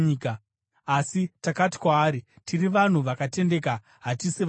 Asi takati kwaari, ‘Tiri vanhu vakatendeka; hatisi vasori.